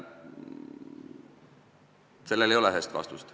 Sellele ei ole ühest vastust.